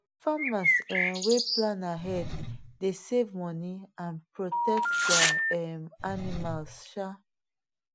farmers um wey plan ahead dey save money and protect their um animals um